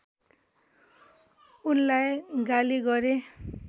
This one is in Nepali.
उनलाई गाली गरे